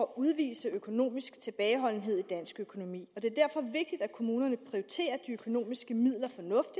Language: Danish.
udvise økonomisk tilbageholdenhed i dansk økonomi og det er derfor vigtigt at kommunerne prioriterer de økonomiske midler